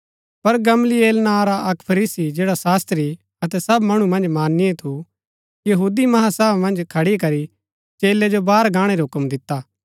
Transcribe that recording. पर गमलीएल नां रा अक्क फरीसी जैडा शास्त्री अतै सब मणु मन्ज माननीय थू कचैहरी मन्ज खड़ी करी चेलै जो बाहर गाणै रा हूक्म दिता